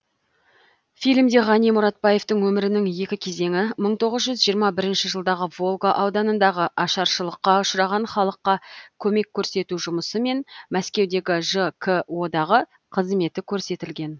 фильмде ғани мұратбаевтың өмірінің екі кезеңі мың тоғыз жүз жиырма бірінші жылдағы волга ауданындағы ашаршылыққа ұшыраған халыққа көмек көрсету жұмысы мен мәскеудегі жко дағы қызметі көрсетілген